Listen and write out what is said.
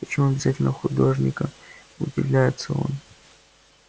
почему обязательно художника удивляется он